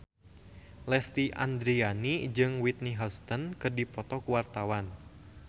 Lesti Andryani jeung Whitney Houston keur dipoto ku wartawan